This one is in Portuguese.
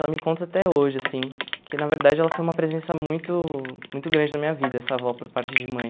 Ela me conta até hoje, assim, que na verdade ela foi uma presença muito muito grande na minha vida, essa avó, por parte de mãe.